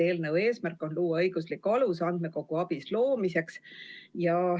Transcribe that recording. Eelnõu eesmärk on luua õiguslik alus andmekogu ABIS loomiseks.